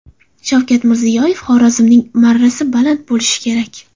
Shavkat Mirziyoyev: Xorazmning marrasi baland bo‘lishi kerak.